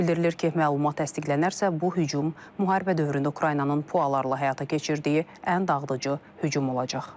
Bildirilir ki, məlumat təsdiqlənərsə, bu hücum müharibə dövründə Ukraynanın PUA-larla həyata keçirdiyi ən dağıdıcı hücum olacaq.